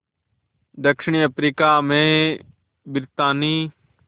दक्षिण अफ्रीका में ब्रितानी